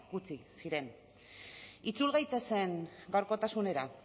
gutxi ziren itzul gaitezen gaurkotasunera